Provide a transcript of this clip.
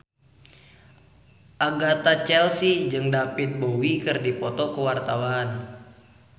Agatha Chelsea jeung David Bowie keur dipoto ku wartawan